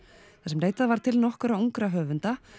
þar sem leitað var til nokkurra ungra höfunda